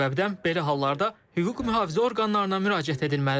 Bu səbəbdən belə hallarda hüquq mühafizə orqanlarına müraciət edilməlidir.